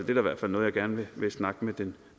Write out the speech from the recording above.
i hvert fald noget jeg gerne vil snakke med den